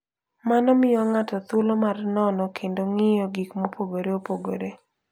Mano miyo ng'ato thuolo mar nono kendo ng'iyo gik mopogore opogore.